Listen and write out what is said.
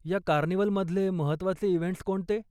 या कार्निव्हल मधले महत्वाचे इव्हेंट्स कोणते?